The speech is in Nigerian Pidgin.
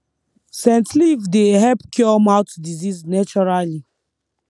scent leaf dey help cure mouth disease naturally